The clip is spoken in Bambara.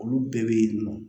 Olu bɛɛ bɛ yen nɔ